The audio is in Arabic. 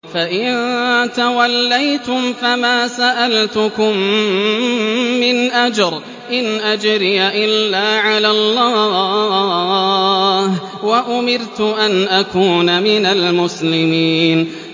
فَإِن تَوَلَّيْتُمْ فَمَا سَأَلْتُكُم مِّنْ أَجْرٍ ۖ إِنْ أَجْرِيَ إِلَّا عَلَى اللَّهِ ۖ وَأُمِرْتُ أَنْ أَكُونَ مِنَ الْمُسْلِمِينَ